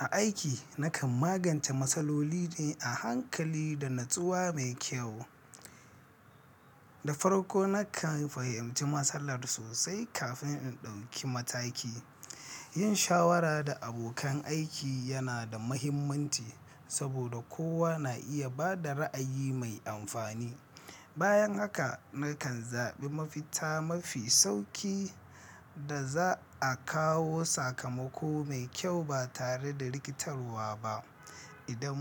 A aiki, nakan magance matsaloli ne a hankali da natsuwa mai kyau. Da farko, nakan fahimci matsalar sosai kafin in ɗauki mataki. Yin shawara da abokan aiki yana da mahimmanci saboda kowa na iya bada ra’ayi mai amfani. Bayan haka, nakan zaɓi mafita mafi sauƙi da za a kawo sakamako mai kyau ba tare da rikitarwa ba. Idan